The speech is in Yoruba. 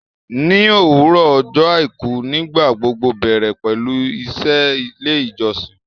Ní òwúrọ̀ ọjọ àìkú nígbà gbogbo bẹ̀rẹ̀ pẹlú iṣẹ́ ilé ìjọsìn